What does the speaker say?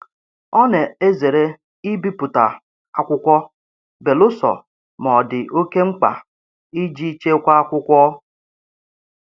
Ọ na-ezere ibipụta akwụkwọ belụsọ ma ọ dị oke mkpa iji chekwaa akwụkwọ.